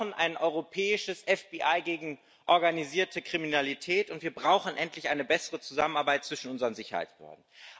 Wir brauchen ein europäisches FBI gegen organisierte Kriminalität, und wir brauchen endlich eine bessere Zusammenarbeit zwischen unseren Sicherheitsbehörden.